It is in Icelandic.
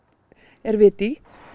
er vit í